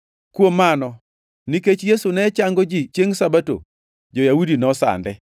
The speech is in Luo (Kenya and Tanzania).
Kuom mano, nikech Yesu ne chango ji chiengʼ Sabato, jo-Yahudi nosande.